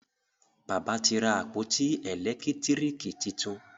bàbá tí ra àpótí elekitiriki títún.